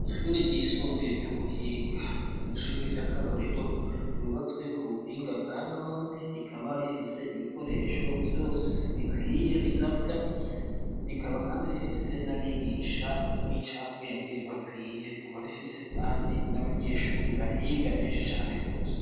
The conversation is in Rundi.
Ishure ryisumbuye ry'ubuhinga, n'ishure ry'akarorero ryubatswe ku buhinga bwa none rikaba rifise ibikoresho vyose bikwiye bisabwa, rikaba kandi rifise n'abigisha b'incabwenge bakwiye, rikaba rifise kandi n'abanyeshuri bahiga benshi cane gose.